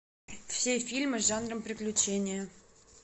все фильмы с жанром приключения